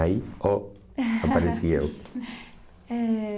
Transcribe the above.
Aí, oh, apareci eu. Eh